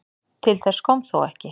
Til þess kom þó ekki.